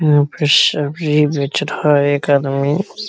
यहाँ पे सब्जी बेच रहा है एक आदमी --